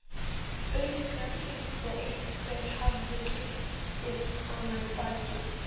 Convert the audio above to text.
auka, líkt og einhver hafi klipið hana í bakið.